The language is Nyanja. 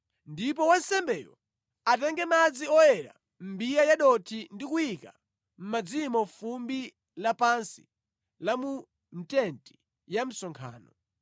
Ndipo wansembeyo atenge madzi oyera mʼmbiya ya dothi ndi kuyika mʼmadzimo fumbi lapansi la mʼTenti ya Msonkhano.